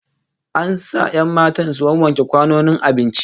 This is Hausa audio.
An sa 'yan matan su wawwanke kwanonin abincin